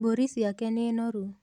Mbũri cĩake nĩ noru